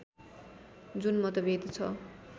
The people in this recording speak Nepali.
जुन मतभेद छ